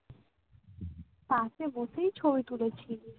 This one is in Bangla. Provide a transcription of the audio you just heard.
পাশে বসেই ছবি তুলেছি